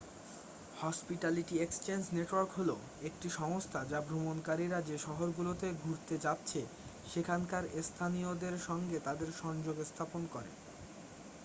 hospitality exchange network হলো একটি সংস্থা যা ভ্রমণকারীরা যে শহরগুলোতে ঘুরতে যাচ্ছে সেখানকার স্থানীয়দের সঙ্গে তাদের সংযোগ স্থাপন করে